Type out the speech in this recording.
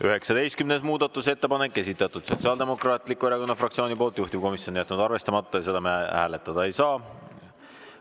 19. muudatusettepanek, esitatud Sotsiaaldemokraatliku Erakonna fraktsiooni poolt, juhtivkomisjon jätnud arvestamata ja seda me hääletada ei saa.